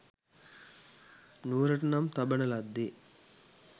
නුවරට නම් තබන ලද්දේ